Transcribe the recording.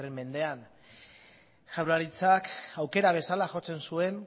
mendean jaurlaritzak aukera bezala jotzen zuen